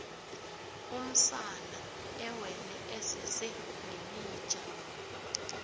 umsana ewele esese lilija